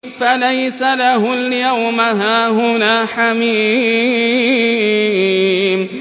فَلَيْسَ لَهُ الْيَوْمَ هَاهُنَا حَمِيمٌ